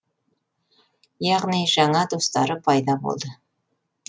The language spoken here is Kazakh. яғни жаңа достары пайда болды